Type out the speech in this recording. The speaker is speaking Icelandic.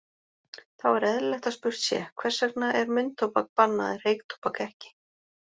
Þá er eðlilegt að spurt sé, hvers vegna er munntóbak bannað en reyktóbak ekki?